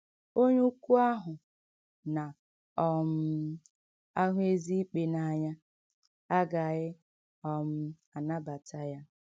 Onye ukwu ahụ “ na um - ahụ ezi ikpe n’anya ” agaghị um anabata ya.